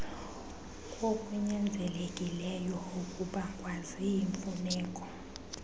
kokunyanzelekileyo okubangwa ziimfuneko